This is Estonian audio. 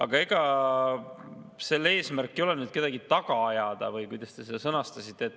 Ega muudatuse eesmärk ei ole kedagi taga ajada või kuidas te selle sõnastasite.